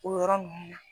O yɔrɔ ninnu na